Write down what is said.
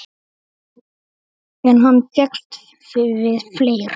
En hann fékkst við fleira.